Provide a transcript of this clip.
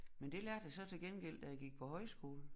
Men det lærte jeg så til gengæld da jeg gik på højskole